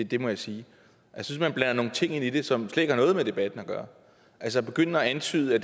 det må jeg sige jeg synes man blander nogle ting ind i det som slet ikke har noget med debatten at gøre altså at begynde at antyde at